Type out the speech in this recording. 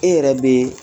E yɛrɛ be